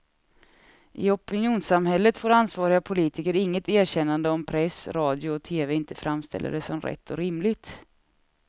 I opinionssamhället får ansvariga politiker inget erkännande om press, radio och tv inte framställer det som rätt och rimligt.